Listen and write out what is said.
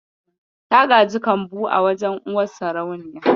Ta gaji kambu a wajen uwar sarauniya.